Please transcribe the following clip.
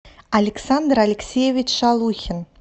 александр алексеевич шалухин